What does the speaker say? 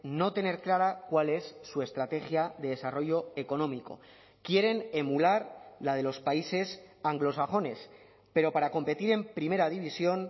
no tener clara cuál es su estrategia de desarrollo económico quieren emular la de los países anglosajones pero para competir en primera división